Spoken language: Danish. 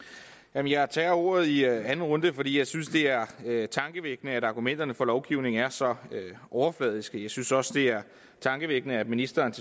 jeg tager ordet i anden runde fordi jeg synes det er tankevækkende at argumenterne for lovgivningen er så overfladiske jeg synes også det er tankevækkende at ministeren